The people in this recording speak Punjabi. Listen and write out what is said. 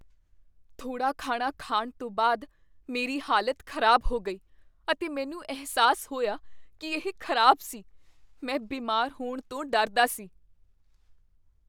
ਥੋੜਾ ਖਾਣਾ ਖਾਣ ਤੋਂ ਬਾਅਦ ਮੇਰੀ ਹਾਲਤ ਖ਼ਰਾਬ ਹੋ ਗਈ ਅਤੇ ਮੈਨੂੰ ਅਹਿਸਾਸ ਹੋਇਆ ਕੀ ਇਹ ਖ਼ਰਾਬ ਸੀ। ਮੈਂ ਬਿਮਾਰ ਹੋਣ ਤੋਂ ਡਰਦਾ ਸੀ।